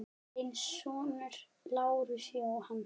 Þinn sonur, Lars Jóhann.